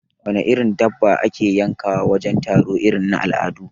Wana irin dabba ake yankawa wajen taro irin na al'adu?